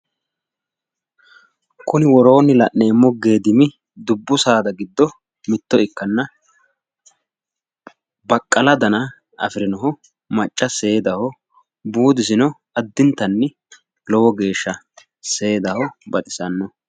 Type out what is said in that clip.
Kuni woroonni la'neemmo la'neemmo geedimi dubbu saada giddo mitto ikkanna baqala dana afirino macca seedahoo, buudisino addintanni lowo geesha seedaho baxisanno.